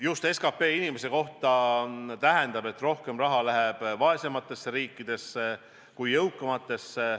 Just SKP ühe inimese kohta aitab tagada, et rohkem raha läheks vaesematesse kui jõukamatesse riikidesse.